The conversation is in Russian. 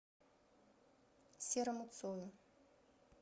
серому цою